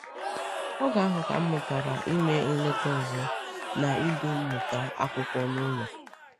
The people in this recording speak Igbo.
“Oge ahụ ka m mụtara ime nleta ọzọ na idu mmụta akwụkwọ n’ụlọ.”